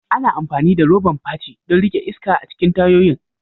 Ana amfani da roban fachi don riƙe iska a cikin tayoyin.